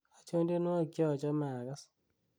achon tenywogik cheochome agas